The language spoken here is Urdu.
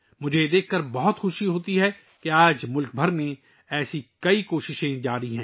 مجھے یہ دیکھ کر بہت خوشی ہوتی ہے کہ آج ملک بھر میں ایسی بہت سی کوششیں ہو رہی ہیں